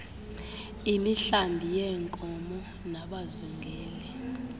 imihlambi yeenkomo nabazingeli